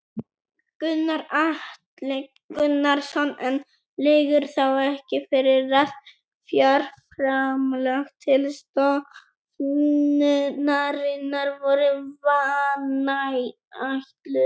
Gunnar Atli Gunnarsson: En liggur þá ekki fyrir að fjárframlög til stofnunarinnar voru vanáætluð?